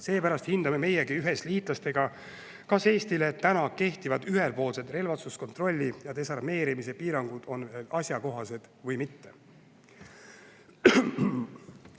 Seepärast hindame meiegi ühes liitlastega, kas Eestile täna kehtivad ühepoolsed relvastuskontrolli ja desarmeerimise on veel asjakohased või mitte.